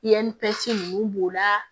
ninnu b'o la